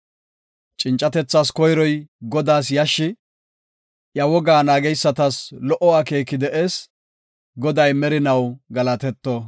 Cincatethas koyroy Godaas yashshi; iya wogaa naageysatas lo77o akeeki de7ees. Goday merinaw galatetto!